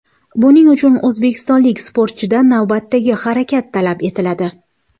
Buning uchun o‘zbekistonlik sportchidan navbatdagi harakat talab etiladi.